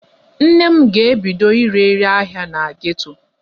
Nne m ga-ebido ire ire ahịa na geto.